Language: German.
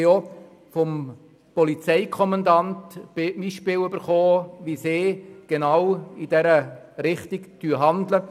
Vom Polizeikommandanten haben wir auch Beispiele dafür bekommen, dass die Polizei genau in diese Richtung handelt.